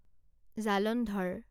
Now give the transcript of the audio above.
Jalandhar